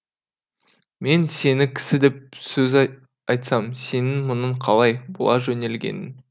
мен сені кісі деп сөз айтсам сенің мұның қалай бұла жөнелгенің